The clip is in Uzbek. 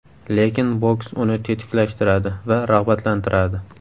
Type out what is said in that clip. Lekin boks uni tetiklashtiradi va rag‘batlantiradi.